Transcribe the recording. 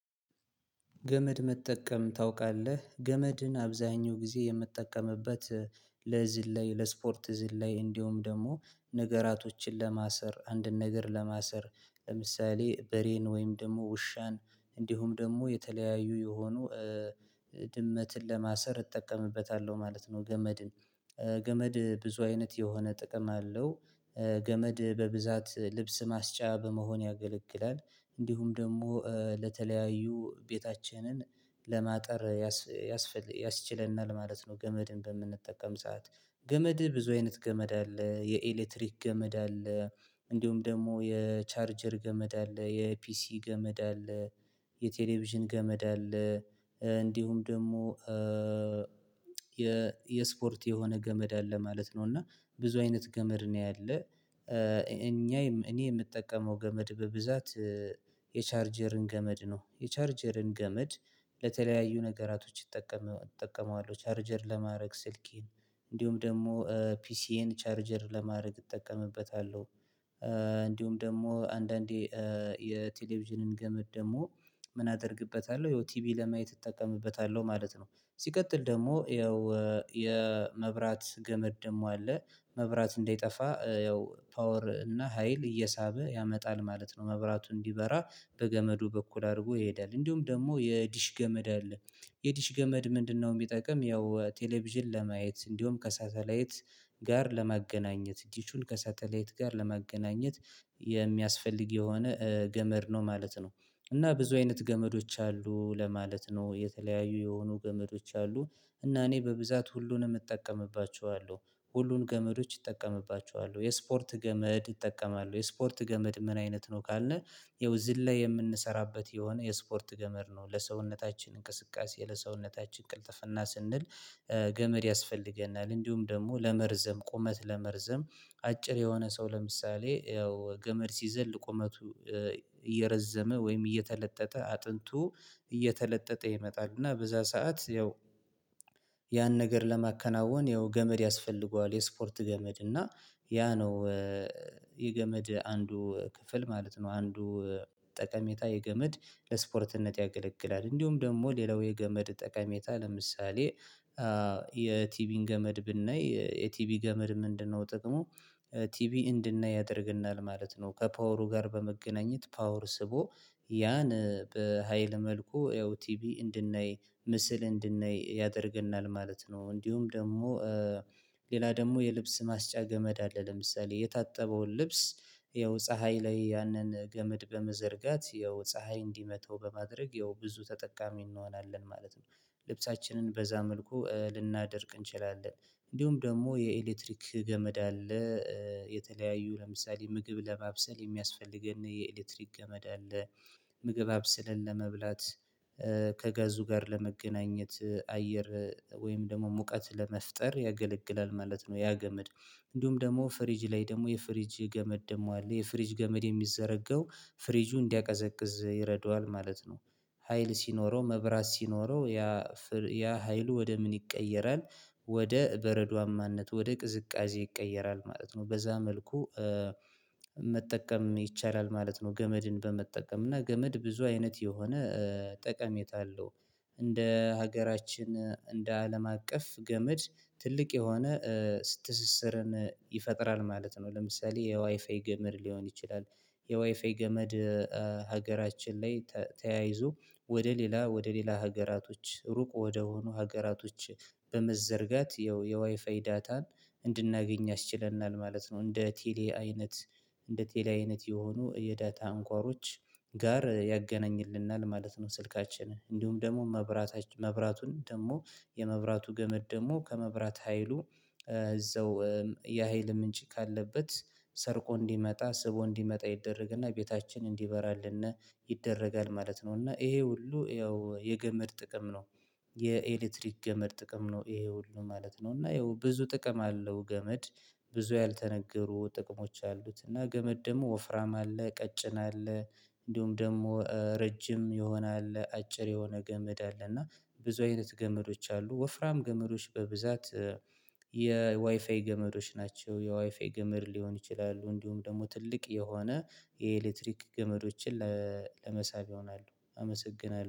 ገመድ መጠቀም ታውቃለህ ገመድን አብዛኛው ጊዜ የምጠቀምበት ለዝል ለስፖርት ዝላይ እንደውም ደግሞ ነገራቶችን ለማሰር አንድን ነገር ለማሰር ለምሳሌ በሬን ወይም ደግሞ ውሻን እንዲሁም ደግሞ የተለያዩ የሆኑ ድመትን ለማሰር እጠቀምበታለሁ ማለት ነው። ገመድን ገመድ ብዙ አይነት የሆነ ጥቅም አለው። ገመድ በብዛት ልብስ ማስጫ በመሆን ያገለግላል እንዲሁም ደግሞ ለተለያዩ ቤታችንን ለማጠር ያስፈልግ ያስችለናል ማለት ነው። ገመድን በምንጠቀም ሰዓት ገመድ ብዙ አይነት ገመድ አለ የኤሌክትሪክ ገመድ አለ። እንዲሁም ደግሞ የቻርጀር ገመድ አለ የፒሲ ገመድ አለ። የቴሌቪዥን ገመድ አለ። እንዲሁም ደግሞ የ የስፖርት የሆነ ገመድ አለ ማለት ነው። እና ብዙ አይነት ገመድ ነው ያለ። እኛ እኔ የምጠቀመው ገመድ በብዛት የቻርጀርን ገመድ ነው። የቻርጀርን ገመድ ለተለያዩ ነገራቶች ይጠቀሙ እጠቀመዋለሁ ቻርጀር ለማድረግ ስልኬን እንዲሁም ደግሞ ፒሲዬን ቻርጀር ለማድረግ እጠቀምበታለሁ። እንዲሁም ደግሞ አንዳንዴ የቴሌቪዥንን ገመድ ደግሞ ምን አደርግበታለሁ ይኸው ቲቪ ለማየት እጠቀምበታለሁ ማለት ነው። ሲቀጥል ደግሞ ያው የመብራት ገመድ ደግሞ አለ መብራት እንዳይጠፋ ያው ፓወር እና ሀይል እየሳበ ያመጣል ማለት ነው። መብራቱ እንዲበራ በገመዱ በኩል አድርጎ ይሄዳል እንዲሁም ደግሞ የዲሽ ገመድ አለ። የዲሽ ገመድ ምንድነው? የሚጠቅም ያው ቴሌቪዥን ለማየት እንዲሁም ከሳተላይት ጋር ለማገናኘት ዲሹን ከሳተላይት ጋር ለማገናኘት የሚያስፈልግ የሆነ ገመድ ነው ማለት ነው። እና ብዙ አይነት ገመዶች አሉ ለማለት ነው የተለያዩ የሆኑ ገመዶች አሉ። እና እኔ በብዛት ሁሉንም እጠቀምባቸዋለሁ ሁሉን ገመዶች እጠቀምባቸዋለሁ የስፖርት ገመድ እጠቀማለው። የስፖርት ገመድ ምን አይነት ነው ካለ? ይኸው ዝላይ የምንሰራበት የሆነ የስፖርት ገመድ ነው። ለሰውነታችን እንቅስቃሴ ለሰውነታችን ቅልጥፍና ስንል ገመድ ያስፈልገናል። እንዲሁም ደግሞ ለመርዘም ቁመት ለመርዘም አጭር የሆነ ሰው ለምሳሌ ያው ገመድ ሲዘል ቁመቱ እየረዘመ ወይም እየተለጠጠ አጥንቱ እየተለጠጠ ይመጣል እና በዛ ሰዓት ያው ያን ነገር ለማከናወን ያው ገመድ ያስፈልገዋል። የስፖርት ገመድ እና ያ ነው። የገመድ አንዱ ክፍል ማለት ነው። አንዱ ጠቀሜታ የገመድ ለስፖርትነት ያገለግላል። እንዲሁም ደግሞ ሌላው የገመድ ጠቀሜታ ለምሳሌ የቲቪን ገመድ ብናይ የቲቢ ምንድነው? ጥቅሙ ቲቪ እንድናይ ያደርግናል ማለት ነው። ከፓወሩ ጋር በመገናኘት ፓወር ስቦ ያን በሃይል መልኩ ያው ቲቪ እንድናይ ምስል እንድናይ ያደርገናል ማለት ነው። እንዲሁም ደግሞ ሌላ ደግሞ የልብስ ማስጫ ገመድ አለ። ለምሳሌ የታጠበውን ልብስ ይኸው ፀሀይ ላይ ያንን ገመድ በመዘርጋት ይኸው ፀሀይ እንዲመታው በማድረግ ይኸው ብዙ ተጠቃሚ እንሆናለን ማለት ነው። ልብሳችንን በዛ መልኩ ልናደርግ እንችላለን። እንዲሁም ደግሞ የኤሌክትሪክ ገመድ አለ። የተለያዩ ለምሳሌ ምግብ ለማብሰል የሚያስፈልገን የኤሌክትሪክ ገመድ አለ። ምግብ አብስለን ለመብላት ከጋዙ ጋር ለመገናኘት አየር ወይም ደግሞ ሙቀት ለመፍጠር ያገለግላል ማለት ነው። ያ ገመድ። እንዲሁም ደግሞ ፍሪጅ ላይ ደግሞ የፍሪጅ ገመድ ደግሞ አለ። የፍሪጅ ገመድ የሚዘረጋው ፍሪጁ እንዲያቀዘቅዝ ይረዳዋል ማለት ነው። ሀይል ሲኖረው መብራት ሲኖረው ያ ያ ሀይሉ ወደ ምን ይቀየራል? ወደ በረዷማነት ወደ ቅዝቃዜ ይቀየራል ማለት ነው። በዛ መልኩ መጠቀም ይቻላል ማለት ነው። ገመድን በመጠቀም እና ገመድ ብዙ አይነት የሆነ ጠቀሜታ አለው። እንደ ሀገራችን እንደ አለም አቀፍ ገመድ ትልቅ የሆነ ስትስስርን ይፈጥራል ማለት ነው። ለምሳሌ የዋይፋይ ገመድ ሊሆን ይችላል። የዋይፋይ ገመድ ሀገራችን ላይ ተያይዞ ወደ ሌላ ወደ ሌላ ሀገራቶች ሩቅ ወደሆኑ ሀገራቶች በመዘርጋት የዋይፋይ ዳታን እንድናገኝ ያስችለናል ማለት ነው። እንደ ቴሌ አይነት እንደ ቴሌ አይነት የሆኑ የዳታ አንኳሮች ጋር ያገናኝልናል ማለት ነው። ስልካችን እንዲሁም ደግሞ መብራት መብራቱን ደግሞ የመብራቱ ገመድ ደግሞ ከመብራት ሀይሉ እዛው የሀይል ምንጭ ካለበት ሰርቆ እንዲመጣ ስቦ እንዲመጣ ይደረግና ቤታችን እንዲበራልና ይደረጋል ማለት ነው። እና ይሄ ሁሉ ያው የገመድ ጥቅም ነው። የኤሌክትሪክ ገመድ ጥቅም ነው ይሄ ሁሉ ማለት ነው። እና ይሄው ብዙ ጥቅም አለው። ገመድ ብዙ ያልተነገሩ ጥቅሞች አሉት። እና ገመድ ደግሞ ወፍራም አለ ቀጭን አለ። እንዲሁም ደግሞ ረጅም የሆነ አለ አጭር የሆነ ገመድ አለ እና ብዙ አይነት ገመዶች አሉ። ወፍራም ገመዶች በብዛት የዋይፋይ ገመዶች ናቸው የዋይፋይ ገመድ ሊሆን ይችላሉ። እንዲሁም ደግሞ ትልቅ የሆነ የኤሌክትሪክ ገመዶችን ለመሳብ ይሆናሉ። አመሰግናለሁ